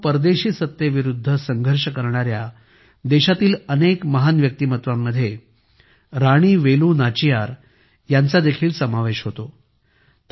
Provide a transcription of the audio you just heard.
मित्रांनो परदेशी सत्तेविरूद्ध संघर्ष करणाऱ्या देशातील अनेक महान व्यक्तिमत्त्वांमध्ये राणी वेलू नाचियार यांचा देखील समावेश होतो